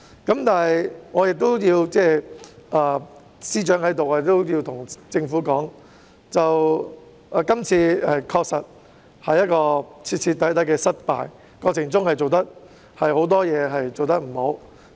現在司長也在席，我想對政府說，這次修例確實是徹徹底底的失敗，過程中有很多事情處理欠佳。